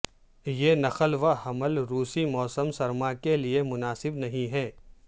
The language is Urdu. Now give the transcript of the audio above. یہ نقل و حمل روسی موسم سرما کے لئے مناسب نہیں ہے